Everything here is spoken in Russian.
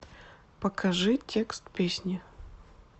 покажи текст песни